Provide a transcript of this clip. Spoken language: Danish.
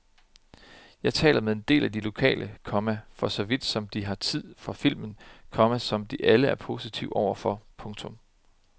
Jeg taler med en del af de lokale, komma for så vidt som de har tid for filmen, komma som de alle er positive overfor. punktum